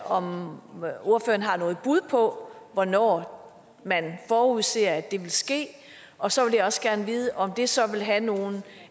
om ordføreren har noget bud på hvornår man forudser det vil ske og så vil jeg også gerne vide om det så vil have nogen